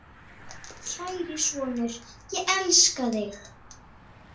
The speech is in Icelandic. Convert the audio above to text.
Kæri sonur, ég elska þig.